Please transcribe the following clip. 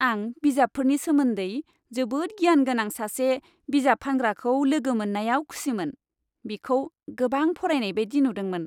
आं बिजाबफोरनि सोमोन्दै जोबोद गियान गोनां सासे बिजाब फानग्राखौ लोगो मोन्नायाव खुसिमोन। बिखौ गोबां फरायनाय बायदि नुदोंमोन।